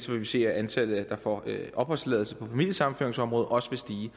vil vi se at antallet der får opholdstilladelse på familiesammenføringsområdet også vil stige